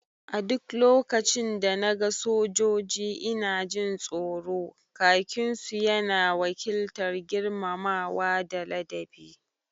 A duk lokacin da na ga sojoji ina jin tsoro, khakin su ya na wakiltar girmamawa da ladabi